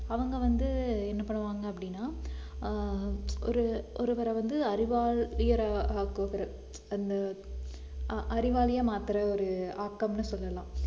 அவுங்க வந்து என்ன பண்ணுவாங்க அப்படின்னா ஆஹ் ஒரு~ ஒருவரை வந்து அறிவால் உயர அந்த ஆஹ் அறிவாளியா மாத்துற ஒரு ஆக்கம்னு சொல்லலாம்